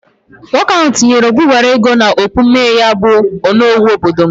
Nwoke ahụ tụnyere abubara ugo n'okpu mmee ya bụ onowu obodo m